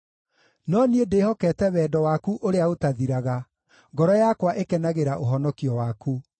No niĩ ndĩhokete wendo waku ũrĩa ũtathiraga; ngoro yakwa ĩkenagĩra ũhonokio waku.